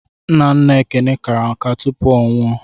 Nna nna Ekene kara nká tupu ọ nwụọ.